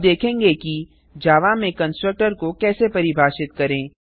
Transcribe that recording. अब देखेंगे कि जावा में कंस्ट्रक्टर को कैसे परिभाषित करें